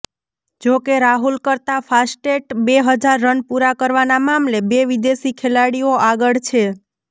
જોકે રાહુલ કરતાં ફાસ્ટેસ્ટ બે હજાર રન પૂરા કરવાના મામલે બે વિદેશી ખેલાડીઓ આગળ છે